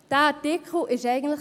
Dieser Artikel ist eigentlich …